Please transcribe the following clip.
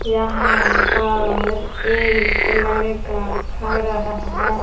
यहां पर एक लड़का खड़ा है।